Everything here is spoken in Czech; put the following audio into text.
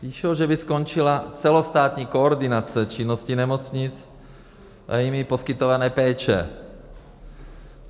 Píšou, že by skončila celostátní koordinace činnosti nemocnic a jimi poskytované péče.